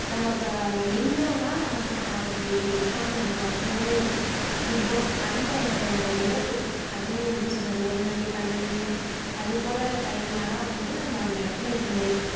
நம்ம இப்போ அங்க நின்னோன்னா நமக்கு தான் ஆபத்து நிக்காம நம்ம பாட்டுன்னு இது போல uptime இரவு அதுவும் எப்படி சொல்றது ஒரு மணி பன்னெண்டு அது போல் time ல எல்லாம் வந்து அந்த இடத்துல